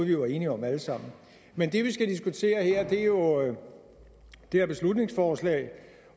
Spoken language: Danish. vi var enige om alle sammen men det vi skal diskutere her er jo det her beslutningsforslag